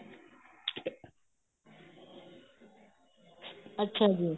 ਅੱਛਾ ਜੀ